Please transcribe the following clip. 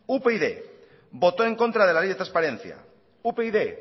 upyd votó en contra de la ley de transparencia upyd